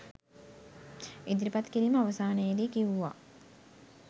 ඉදිරිපත් කිරීම අවසානයේදී කිව්වා